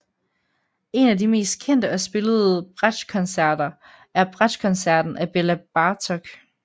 En af de mest kendte og spillede bratschkoncerter er bratschkoncerten af Bela Bartok